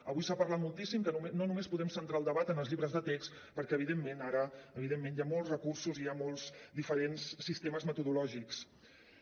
avui s’ha parlat moltíssim que no només podem centrar el debat en els llibres de text perquè evidentment ara hi ha molts recursos i hi ha molts sistemes metodològics diferents